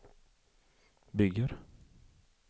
bygger